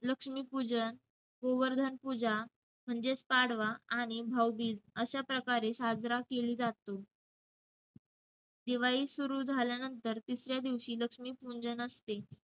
लक्ष्मीपूजन, गोवर्धन पूजा म्हणजेच पाडवा आणि भाऊबीज अश्या प्रकारे साजरा केली जातो. दिवाळी सुरु झाल्यानंतर तिसऱ्या दिवशी लक्ष्मीपूंजन असते.